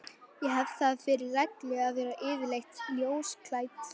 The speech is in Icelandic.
Ég hef það fyrir reglu að vera yfirleitt ljósklædd.